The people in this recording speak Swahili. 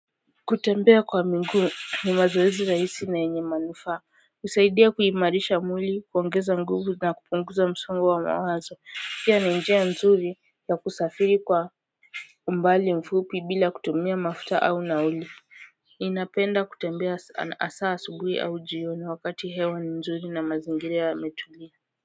Kutembea kwa miguu ni mazoezi rahisi na yenye manufaa kusaidia kuimarisha mwili kuongeza nguvu na kupunguza msongo wa mawazo pia na njia nzuri ya kusafiri kwa mbali mfupi bila kutumia mafuta au nauli ninapenda kutembea hasaa asubuhi au jioni wakati hewa ni nzuri na mazingir yametuli kwa hivyo.